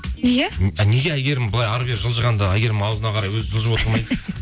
неге неге әйгерім былай әрі бері жылжығанда әйгерімнің ауызына қарай өзі жылжып отырмайды